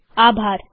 જોડાવા માટે આભાર